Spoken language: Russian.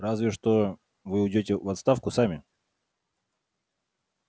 разве что вы уйдёте в отставку сами